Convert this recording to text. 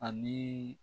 Ani